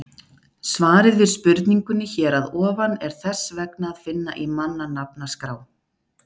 Svarið við spurningunni hér að ofan er þess vegna að finna í mannanafnaskrá.